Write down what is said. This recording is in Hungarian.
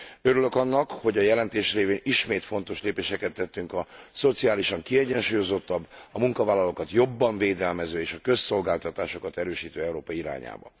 Örülök annak, hogy a jelentés révén ismét fontos lépéseket tettünk a szociálisan kiegyensúlyozottabb, a munkavállalókat jobban védelmező és a közszolgáltatásokat erősítő Európa irányába.